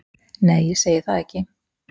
Nei, ég segi það ekki.